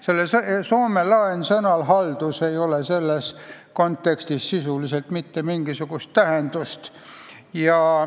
Sellel soome laensõnal "haldus" ei ole selles kontekstis sisuliselt mitte mingisugust tähendust.